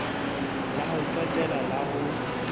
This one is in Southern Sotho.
la ho qetela la ho